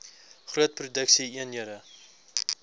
groot produksie eenhede